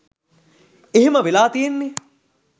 එහෙම වෙලා තියෙන්නෙ